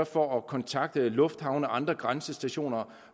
for at kontakte lufthavne og andre grænsestationer